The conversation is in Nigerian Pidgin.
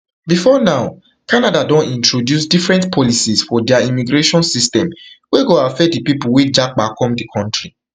bifor now canada don introduce different policies for dia immigration system wey go affect pipo wey go japa come di kontri